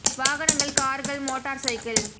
வாகனங்கள் கார்கள் motor cycle